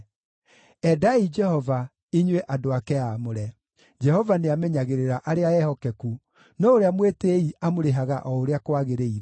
Endai Jehova inyuĩ andũ ake aamũre! Jehova nĩamenyagĩrĩra arĩa ehokeku, no ũrĩa mwĩtĩĩi amũrĩhaga o ũrĩa kwagĩrĩire.